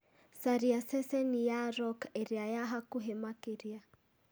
caria ceceni ya rock ĩrĩa ya hakuhĩ makĩria